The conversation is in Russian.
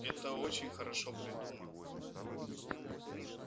это очень хорошо придумано